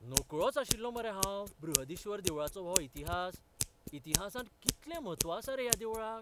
नकळोच आशिल्लों मरे हांव बृहदीश्वर देवळाचो हो इतिहास, इतिहासांत कितलें म्हत्व आसा रे ह्या देवळाक!